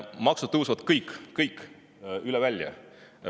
Maksud tõusevad kõik, üle välja.